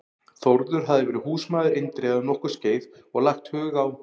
Þórður hafði verið húsmaður Indriða um nokkurt skeið og lagt hug á